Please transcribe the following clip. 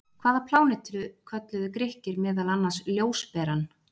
Hvaða plánetu kölluðu Grikkir meðal annars ljósberann?